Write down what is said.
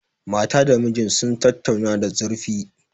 Mata da mijin sun tattauna da zurfi.